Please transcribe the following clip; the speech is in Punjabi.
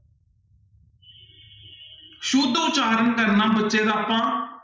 ਸੁੱਧ ਉਚਾਰਨ ਕਰਨਾ ਬੱਚੇ ਦਾ ਆਪਾਂ